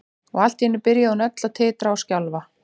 Og allt í einu byrjaði hún öll að titra og skjálfa.